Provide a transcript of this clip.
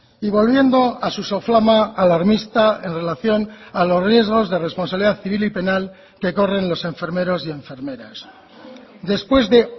y volviendo a su soflama alarmista en relación a los riesgos de responsabilidad civil y penal que corren los enfermeros y enfermeras después de